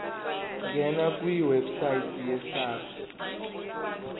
ngena kwiwebsite yesars